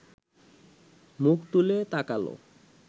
মুখ তুলে তাকাল